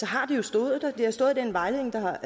har det jo stået har stået i den vejledning der